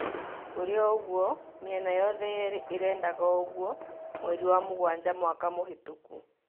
Kũrĩ ogũo mĩena yothe yerĩ irĩndaga ouguo, mweri wa mugwanja mwaka mũhĩtũku